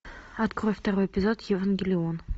открой второй эпизод евангелион